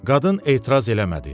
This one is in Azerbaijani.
Qadın etiraz eləmədi.